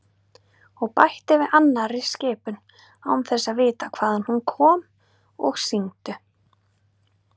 Og bætti við annarri skipun, án þess að vita hvaðan hún kom: Og syngdu